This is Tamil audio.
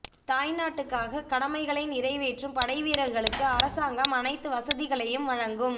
தாய் நாட்டுக்காக கடமைகளை நிறைவேற்றும் படைவீர்களுக்கு அரசாங்கம் அனைத்து வசதிகளையும் வழங்கும்